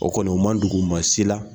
O kɔni o ma dogo maa si la